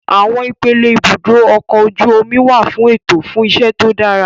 Àwọn ipele ibùdó ọkọ̀ ojú omi wà ní ètò fún iṣẹ́ tó dára